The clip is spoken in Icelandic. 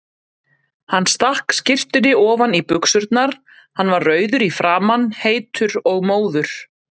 Hann stakk skyrtunni ofan í buxurnar, hann var rauður í framan, heitur og móður.